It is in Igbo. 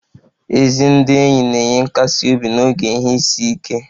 Ezi ndị enyi na-enye nkasi obi n'oge ihe isi ike